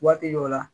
Waati dɔ la